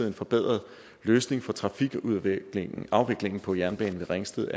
en forbedret løsning for trafikafviklingen på jernbanen ved ringsted